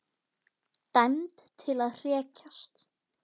Hann lítur út eins og venjulega eftir að hafa meðtekið Orðið.